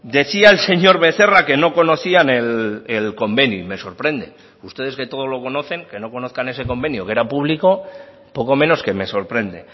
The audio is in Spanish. decía el señor becerra que no conocían el convenio y me sorprende ustedes que todo lo conocen que no conozcan ese convenio que era público poco menos que me sorprende